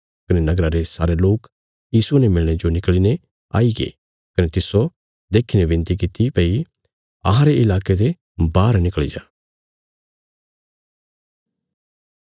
कने नगरा रे सारे लोक यीशुये ने मिलणे जो निकल़ीने आईगे कने तिस्सो देखीने विनती कित्ती भई अहांरे इलाके ते बाहर निकल़ी जा